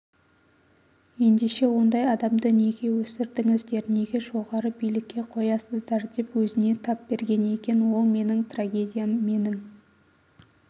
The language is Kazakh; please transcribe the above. ендеше ондай адамды неге өсірдіңіздер неге жоғары билікке қоясыздар деп өзіне тап берген екен ол менің трагедиям менің